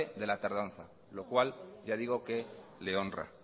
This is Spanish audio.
de la tardanza lo cual ya digo que le honra